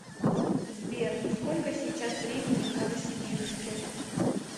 сбер сколько сейчас времени в новосибирске